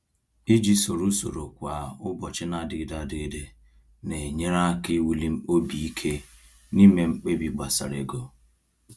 Iji soro usoro kwa ụbọchị na-adịgide adịgide na-enyere aka iwuli obi ike n’ime mkpebi gbasara ego.